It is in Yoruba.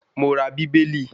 Mo ra Bíbélì